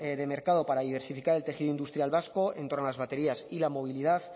de mercado para diversificar el tejido industrial vasco en torno a las baterías y la movilidad